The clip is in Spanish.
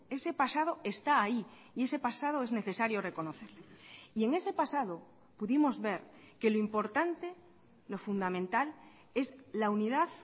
ese pasado está ahí y ese pasado es necesario reconocerlo y en ese pasado pudimos ver que lo importante lo fundamental es la unidad